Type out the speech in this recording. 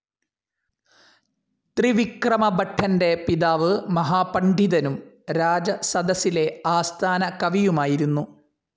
ത്രിവിക്രമഭട്ടന്റെ പിതാവു് മഹാപണ്ഡിതനും രാജസദസ്സിലെ ആസ്ഥാനകവിയുമായിരുന്നു.